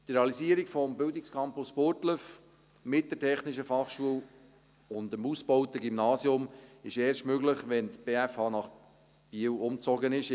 Die Realisierung des Bildungscampus Burgdorf mit der TF Bern und dem ausgebauten Gymnasium ist erst möglich, wenn die BFH nach Biel umgezogen ist.